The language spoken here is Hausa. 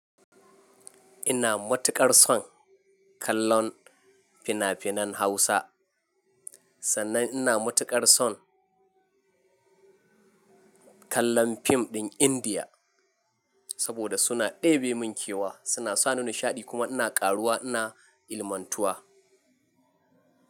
Ina matuƙar son kallon fina-finan Hausa, sannan ina matuƙar son kallon fim ɗin Indiya saboda suna ɗebe mun kewa, suna sa ni nishaɗi kuma ina ƙaruwa ina ilimantuwa.